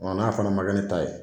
n'a fana man kɛ ne ta ye.